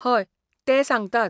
हय, ते सांगतात.